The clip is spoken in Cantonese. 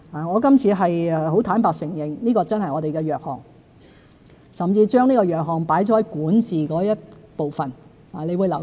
我今次很坦白地承認，這真是我們的弱項，我甚至在施政報告中管治的部分提述這個弱項。